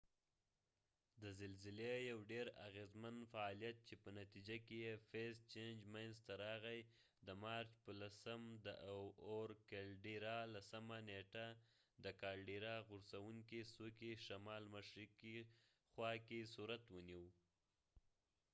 د زلزلی یو ډیراغیزمن فعالیت چې په نتیجه کې یې فیز چېنج منځ ته راغی د مارچ په 10 لسمه نیټه د کالډیرا caldira د اور غورڅونکې څوکې شما ل مشرقی خوا کې صورت ونیو